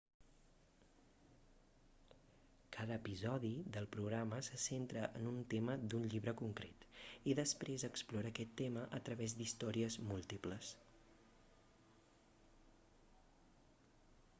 cada episodi del programa se centra en un tema d'un llibre concret i després explora aquest tema a través d'històries múltiples